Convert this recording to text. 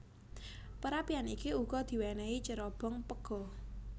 Perapian iki uga diwénéhi cerobong pega